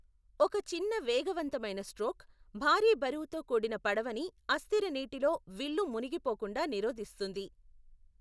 ఒక చిన్న వేగవంతమైన స్ట్రోక్, భారీ బరువుతో కూడిన పడవని అస్థిర నీటిలో విల్లు మునిగిపోకుండా నిరోధిస్తుంది.